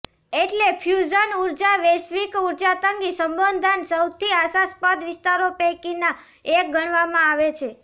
એટલે ફ્યુઝન ઊર્જા વૈશ્વિક ઊર્જા તંગી સંબોધન સૌથી આશાસ્પદ વિસ્તારો પૈકીના એક ગણવામાં આવે છે